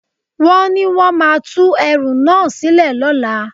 Wọ́n ní wón máa tú ẹrú náà sílẹ̀ lọ́la.